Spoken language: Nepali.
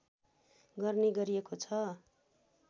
गर्ने गरिएको छ